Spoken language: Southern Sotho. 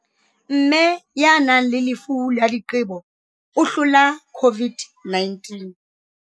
Mme ya nang le lefu la diqebo o hlola COVID-19